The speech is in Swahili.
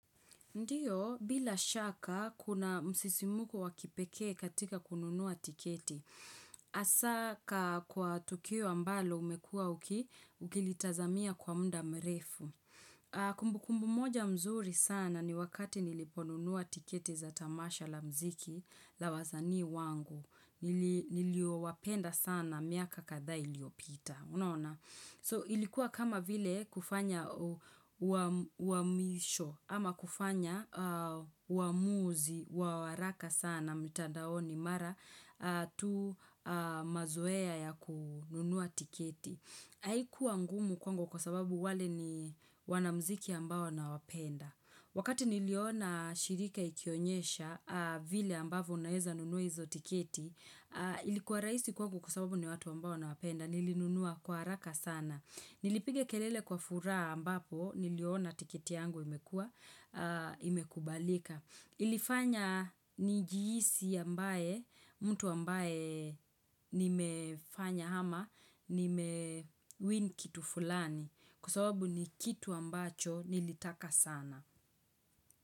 Ndiyo, bila shaka, kuna msisimko wa kipekee katika kununua tiketi. Hasa kwa tukio ambalo umekuwa uki, ukilitazamia kwa muda mrefu. Kumbukumbu moja mzuri sana ni wakati niliponunua tiketi za tamasha la mziki la wasani wangu. Niliowapenda sana miaka kadha iliopita. So ilikuwa kama vile kufanya uamisho ama kufanya waamuzi, wa waraka sana mtandaoni mara tu mazoea ya kununua tiketi. Haikuwa ngumu kwangu kwa sababu wale ni wanamziki ambao nawapenda. Wakati niliona shirika ikionyesha, vile ambavyo unaeza nunua hizo tiketi, ilikuwa rahisi kwangu kwa sababu ni watu ambao nawapenda, nilinunua kwa haraka sana. Nilipiga kelele kwa furaha ambapo, niliona tiketi yangu imekubalika. Ilifanya nijhisi ambaye, mtu ambaye nimefanya ama, nimewin kitu fulani kwa sababu ni kitu ambacho nilitaka sana.